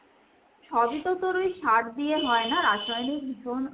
সবই তো তোর ওই সার দিয়ে হয় না,